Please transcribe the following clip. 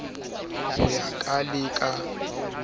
ho ya ka le ka